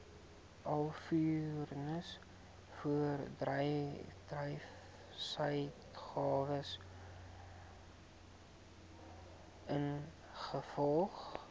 alvorens voorbedryfsuitgawes ingevolge